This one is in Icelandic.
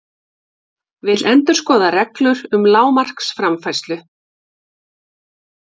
Vill endurskoða reglur um lágmarksframfærslu